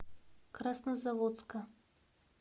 краснозаводска